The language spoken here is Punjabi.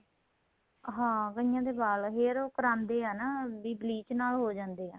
ਹਾਂ ਕਈਆਂ ਦੇ ਵਾਲ hair ਕਰਾਂਦੇ ਏ ਨਾ ਵੀ bleach ਨਾਲ ਜੋ ਜਾਂਦੇ ਏ